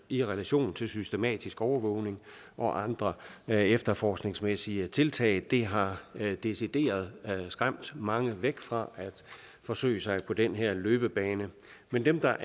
i relation til systematisk overvågning og andre efterforskningsmæssige tiltag det har decideret skræmt mange væk fra at forsøge sig på den her løbebane men dem der